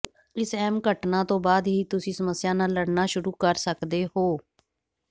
ਇਸ ਅਹਿਮ ਘਟਨਾ ਤੋਂ ਬਾਅਦ ਹੀ ਤੁਸੀਂ ਸਮੱਸਿਆ ਨਾਲ ਲੜਨਾ ਸ਼ੁਰੂ ਕਰ ਸਕਦੇ ਹੋ